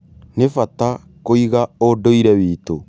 Nĩ bata kũiga ũndũire witũ.